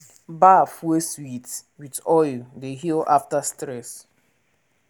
bath wey sweet with oil dey heal after stress.